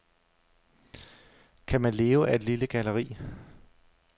Kan man leve af et lille galleri?